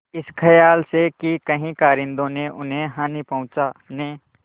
इस खयाल से कि कहीं कारिंदों ने उन्हें हानि पहुँचाने